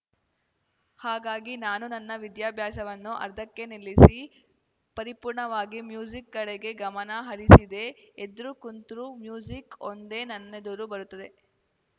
ಹಾಗಾಗಿ ನಾನು ನನ್ನ ವಿದ್ಯಾಭ್ಯಾಸವನ್ನೂ ಅರ್ಧಕ್ಕೆ ನಿಲ್ಲಿಸಿ ಪರಿಪೂರ್ಣವಾಗಿ ಮ್ಯೂಸಿಕ್‌ ಕಡೆಗೆ ಗಮನ ಹರಿಸಿದೆ ಎದ್ರು ಕುಂತ್ರು ಮ್ಯೂಸಿಕ್‌ ಒಂದೇ ನನ್ನೆದುರು ಬರುತ್ತದೆ